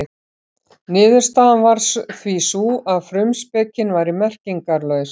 Niðurstaðan varð því sú að frumspekin væri merkingarlaus.